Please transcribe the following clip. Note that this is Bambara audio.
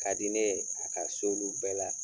Ka di ne ye a ka s'olu bɛɛ la